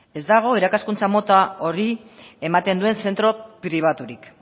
ez dago irakaskuntza mota hori ematen duen zentro pribaturik